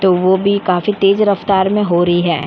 तो वो भी काफी तेज रफ़्तार मै हो रही है।